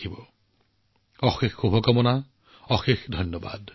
আপোনালোক সকলোকে অশেষ ধন্যবাদ